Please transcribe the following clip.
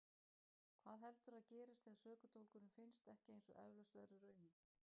Hvað heldurðu að gerist þegar sökudólgurinn finnst ekki eins og eflaust verður raunin?